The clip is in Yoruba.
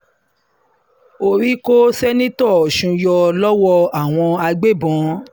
orí kó sẹ́ńtítọ́ kó sẹ́ńtítọ́ ọ̀sùn yọ lọ́wọ́ àwọn agbébọ̀n